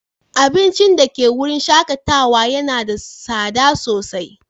Abincin da ke wurin shakatawa yana da tsada sosai.